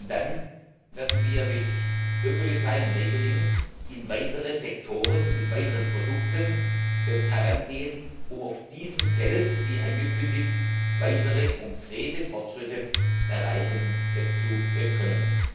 Dann werden wir mit Ökodesign und Öko Labels in weitere Sektoren mit weiteren Produkten herangehen, um auf diesem Feld wie angekündigt weitere konkrete Fortschritte erreichen zu können.